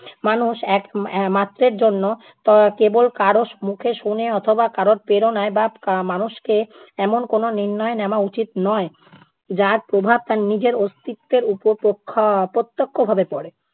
মানুষ এক এর মাত্রের জন্য কেবল কারো মুখে শুনে অথবা কারো প্রেরণায় বা মানুষকে এমন কোনো নির্ণয় নেওয়া উচিত নয়, যার প্রভাব তার নিজের অস্তিত্বের ওপর প্রখ্য~ প্রত্যক্ষভাবে পড়ে।